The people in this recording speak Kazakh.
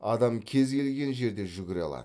адам кез келген жерде жүгіре алады